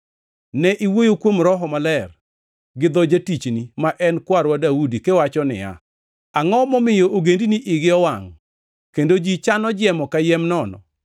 Ne iwuoyo kuom Roho Maler gi dho jatichni, ma en kwarwa Daudi, kiwacho niya: “ ‘Angʼo momiyo ogendini igi owangʼ kendo ji chano jiemo kayiem nono?